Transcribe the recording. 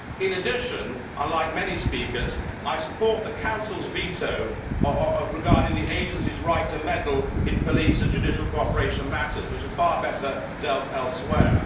In addition, unlike many speakers, I support the Council's veto regarding the agency's right to meddle in police and judicial cooperation matters, which are far better dealt with elsewhere.